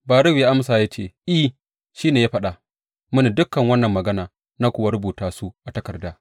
Baruk ya amsa ya ce, I, shi ne ya faɗa mini dukan wannan magana, na kuwa rubuta su a takarda.